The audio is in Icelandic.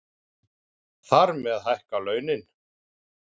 Þar með hækka launin